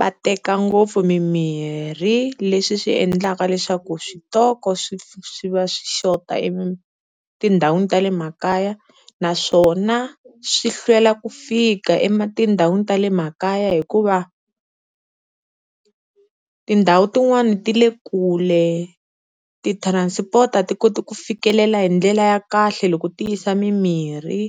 va teka ngopfu mimirhi leswi swi endlaka leswaku switoko swi swi va swi xota etindhawini ta le makaya. Naswona swi hlwela ku fika etindhawini ta le makaya hikuva tindhawu tin'wani ti le kule, ti-transport a ti koti ku fikelela hi ndlela ya kahle loko ti yisa mimirhi.